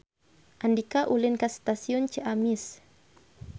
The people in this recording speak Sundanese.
Andika ulin ka Stasiun Ciamis